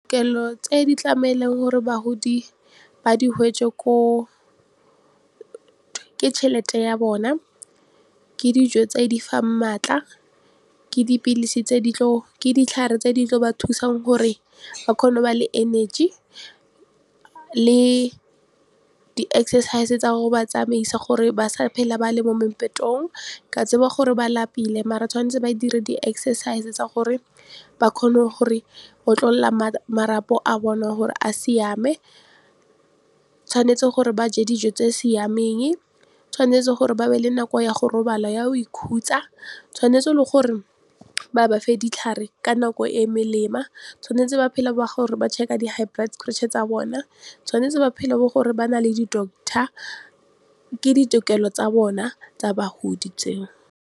Kelo tse di tlameleng gore bahodi ba di ko o ke tšhelete ya bona, ke dijo tse di fang maatla, ke ditlhare tse di tla ba thusang gore ba kgone go ba le energy le di-exercise tsa gore ba tsamaisa gore ba sa phela ba le mo mempetong ka tseba gore ba lapile mare tshwanetse ba dire di-exercise tsa gore ba kgone gore otlolola marapo a bone wa gore a siame. Tshwanetse gore ba je dijo tse di siameng, tshwanetse gore ba be le nako ya go robala ya go ikhutsa tshwanetse le gore ba ba fe ditlhare ka nako e e , tshwanetse ba phela ba gore ba check-a di-high blood pressure tsa bona, tshwanetse ba phela bo gore ba na le di-doctor ke ditokelo tsa bona tsa bagodi tseo.